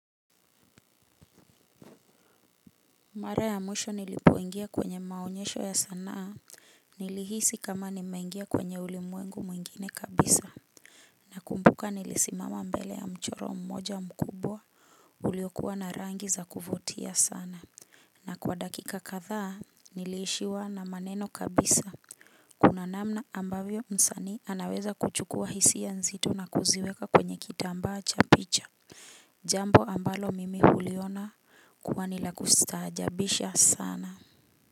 Mara ya mwisho nilipoingia kwenye maonyesho ya sanaa nilihisi kama nimeingia kwenye ulimwengu mwingine kabisa. Nakumbuka nilisimama mbele ya mchoro mmoja mkubwa uliokuwa na rangi za kuvutia sana na kwa dakika kathaa niliishiwa na maneno kabisa. Kuna namna ambavyo msani anaweza kuchukua hisia nzito na kuziweka kwenye kitambaa cha picha. Jambo ambalo mimi huliona kuwa ni la kustaajabisha sana.